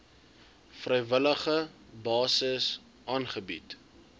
vrywillige basis aangebied